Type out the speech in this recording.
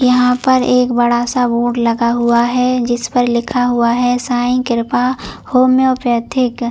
यहाँ पर एक बड़ा सा बोर्ड लगा हुआ है जिस पर लिखा हुआ है साईं कृपा होमीओपेथिक ।